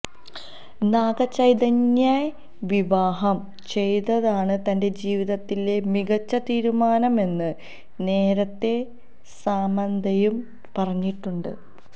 നാഗ ചൈതന്യയെ വിവാഹം ചെയ്തതാണ് തന്റെ ജീവിതത്തിലെ മികച്ച തീരുമാനമെന്ന് നേരത്തേ സാമന്തയും പറഞ്ഞിട്ടുണ്ട്